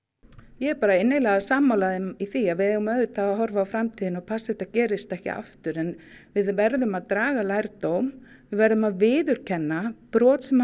ég er innilega sammála þeim í því að við eigum auðvitað að horfa á framtíðina og passa að þetta gerist ekki aftur en við verðum að draga lærdóm við verðum að viðurkenna brot sem